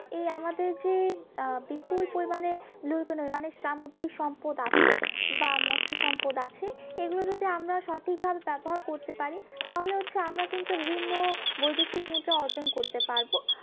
এই আমাদের যে আহ বিপুল পরিমানে মানে সামুদ্রিক সম্পদ আছে বা মৎস সম্পদ আছে এগুলো যদি আমরা সঠিকভাবে ব্যবহার করতে পারি তাহলে হচ্ছে আমরা কিন্তু বিভিন্ন বৈদশিক মুদ্রা অর্জন করতে পারবো